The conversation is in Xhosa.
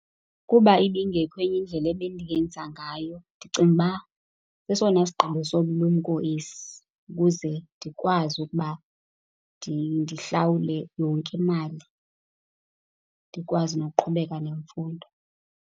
Kuba ibingekho enye indlela ebendingenza ngayo, ndicinga uba sesona sigqibo sobulumko esi ukuze ndikwazi ukuba ndihlawule yonke imali, ndikwazi nokuqhubeka nemfundo.